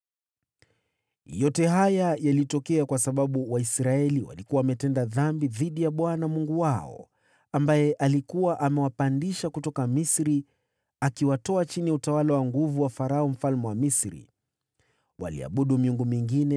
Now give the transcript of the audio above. Yote haya yalitokea kwa sababu Waisraeli walikuwa wametenda dhambi dhidi ya Bwana Mungu wao, ambaye alikuwa amewapandisha kutoka Misri akiwatoa chini ya utawala wa nguvu wa Farao mfalme wa Misri. Waliabudu miungu mingine